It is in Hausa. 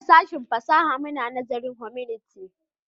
A sashen fasaha muna nazarin Humanity